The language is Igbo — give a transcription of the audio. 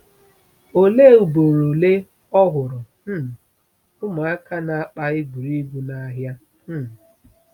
Olee ugboro ole o hụrụ um ụmụaka na-akpa egwuregwu n’ahịa? um